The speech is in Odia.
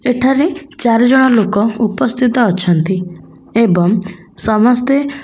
ଏଠାରେ ଚାରି ଜଣ ଲୋକ ଉପସ୍ଥିତ ଅଛନ୍ତି ଏବଂ ସମସ୍ତେ --